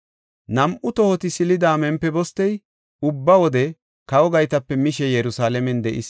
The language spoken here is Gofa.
Nam7u tohoti silida Mempibostey ubba wode kawa gaytape mishe Yerusalaamen de7is.